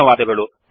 ಧನ್ಯವಾದಗಳು